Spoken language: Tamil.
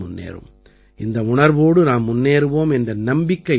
இந்த உணர்வோடு நாம் முன்னேறுவோம் என்ற நம்பிக்கை எனக்கு உண்டு